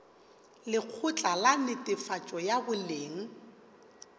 lekgotla la netefatšo ya boleng